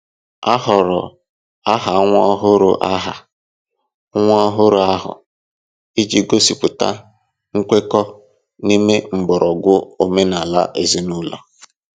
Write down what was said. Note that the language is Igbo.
A họọrọ aha nwa ọhụrụ aha nwa ọhụrụ ahụ iji gosipụta nkwekọ n'ime mgbọrọgwụ omenala ezinụlọ.